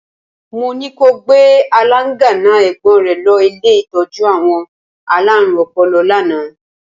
Mo ní ko gbé aláńgànná ẹ̀gbọ́n rẹ̀ lọ́ ilé ìtọ́jú àwọn alárùn ọpọlọ lánàá.